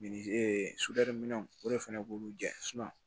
ee minɛnw o de fɛnɛ b'olu jɛnsɛn